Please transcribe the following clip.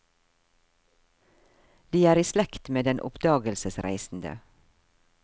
De er i slekt med den oppdagelsesreisende.